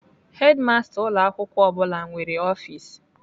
Hedimasta ụlọ akwụkwọ ọ bụla nwere ọfis.